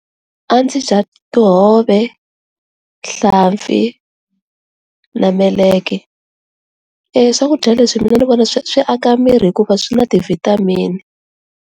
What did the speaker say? A ndzi dya tihove, hlampfi na meleke eeh swakudya leswi mina ni vona swi aka miri hikuva swi na ti vitamin.